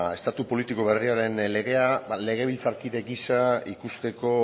estatu politiko berriaren legea legebiltzarkide gisa ikusteko